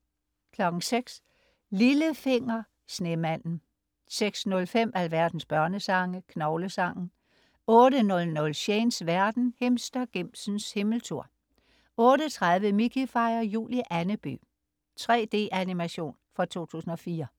06.00 Lillefinger. Snemanden 06.05 Alverdens børnesange. Knoglesangen 08.00 Shanes verden. Himstergimsens himmeltur 08.30 Mickey fejrer jul i Andeby. 3D-animation fra 2004